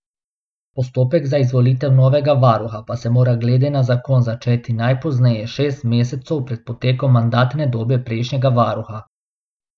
Postopek za izvolitev novega varuha pa se mora glede na zakon začeti najpozneje šest mesecev pred potekom mandatne dobe prejšnjega varuha.